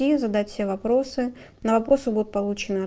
и задать все вопросы на вопросы будут получены от